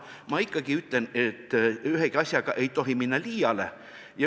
Aga ma ikkagi ütlen, et ühegi asjaga ei tohi minna liiale.